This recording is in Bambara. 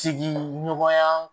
Sigiɲɔgɔnya